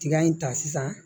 Tiga in ta sisan